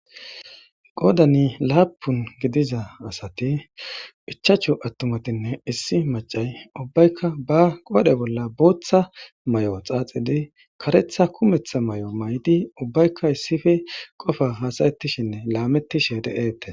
Qodan lapun gidida asati ichchashu atumatinne issi mac7ay ubbay qore bolla boththa mayuwa xaxiddi qareththa kumetha mayo mayid ubbayka issippe qofa lametishsheninne hasayshshen de7tes.